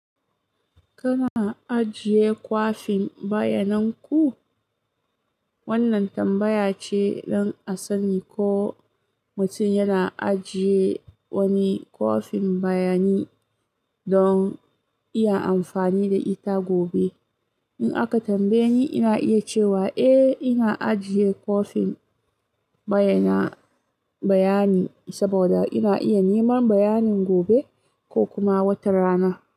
Kana ajiye kwafin bayanan ku? Wannan tambaya ce don a sani ko mutum yana ajiye wani kwafin bayani don iya amfani da ita gobe. In aka tambaye ni, ina iya cewa, eh, ina ajiye kwafin bayana, bayani, saboda ina iya neman bayanin gobe ko kuma wata rana.